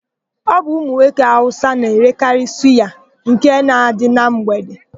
Ọ bụ ụmụnwoke Awụsa na-erekarị suya nke na-adị na mgbede.